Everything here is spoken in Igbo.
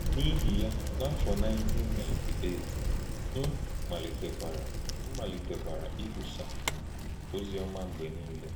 N’íhì ya, n’áfọ 1998, m malítèkwarà m malítèkwarà íkwùsà òzì ọma mgbe niile.